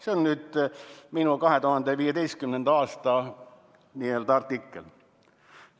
Nii oli kirjas minu 2015. aasta artiklis.